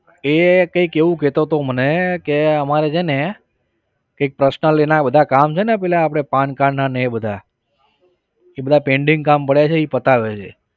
એ કઈક એવું કહેતો હતો મને કે અમારે છે ને એક personal એના બધા કામ છે ને પેલા આપણે pan card ના ને એ બધા એ બધા pending કામ પડ્યા છે એ પતાવે છે.